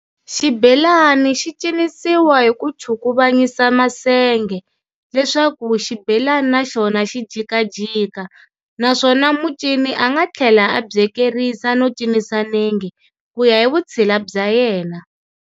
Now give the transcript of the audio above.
Xibelani xicinisiwa hi ku chukuvanyisa masenge, leswaku xibhelani naxona xi jikajika, naswona mucini anga thlela a byekerisa no cinisa nenge, kuya hivutshila bya yena.